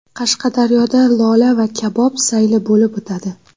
Qashqadaryoda lola va kabob sayli bo‘lib o‘tadi.